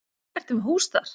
Ertu með hús þar?